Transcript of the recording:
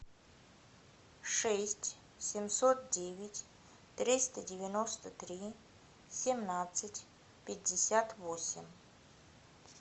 шесть семьсот девять триста девяносто три семнадцать пятьдесят восемь